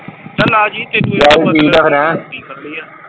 ਚਲ ਆਜੀ ਚਲ ਠੀਕ ਆ ਫਿਰ।